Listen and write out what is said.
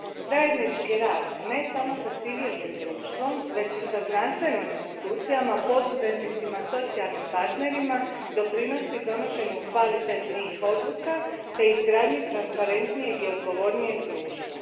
Zajednički rad, ne samo s civilnim društvom, već i sa znanstvenim institucijama, poduzetnicima, socijalnim partnerima doprinosi donošenju kvalitetnijih odluka te izgradnji transparentnijeg i odgovornijeg društva.